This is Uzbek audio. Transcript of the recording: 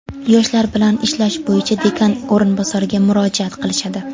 yoshlar bilan ishlash bo‘yicha dekan o‘rinbosariga murojaat qilishadi.